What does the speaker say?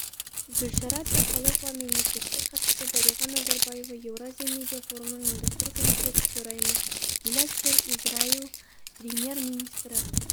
гүлшара әбдіқалықова мемлекеттік хатшысы дариға назарбаева еуразия медиа форумының ұйымдастыру комитеті төрайымы гилад шер израиль премьер-министрі